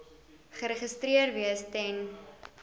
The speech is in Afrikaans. geregistreer wees ten